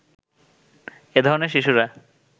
এ ধরনের শিশুরা